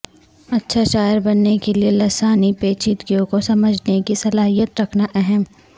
اچھا شاعر بننے کے لئے لسانی پیچیدگیوں کو سمجھنے کی صلاحیت رکھنا اہم